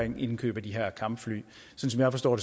om indkøb af de her kampfly som jeg forstår